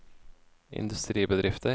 industribedrifter